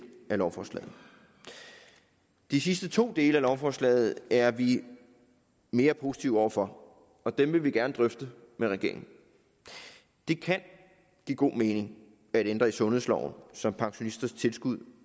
af lovforslaget de sidste to dele af lovforslaget er vi mere positive over for og dem vil vi gerne drøfte med regeringen det kan give god mening at ændre i sundhedsloven så pensionisters tilskud